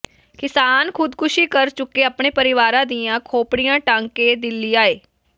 ਕਿਸਾਨ ਖੁਦਕੁਸ਼ੀ ਕਰ ਚੁੱਕੇ ਆਪਣੇ ਪਰਿਵਾਰਾਂ ਦੀਆਂ ਖੋਪੜੀਆਂ ਟੰਗ ਕੇ ਦਿੱਲੀ ਆਏ